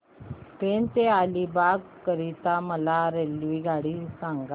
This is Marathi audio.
पेण ते अलिबाग करीता मला रेल्वेगाडी सांगा